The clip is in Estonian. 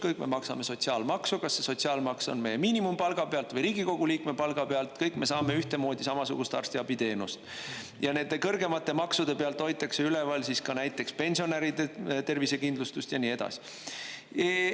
Kõik me maksame sotsiaalmaksu, kas see sotsiaalmaks on miinimumpalga pealt või Riigikogu liikme palga pealt, kõik me saame ühtemoodi samasugust arstiabiteenust ja nende kõrgemate maksude pealt hoitakse üleval siis ka näiteks pensionäride tervisekindlustust ja nii edasi.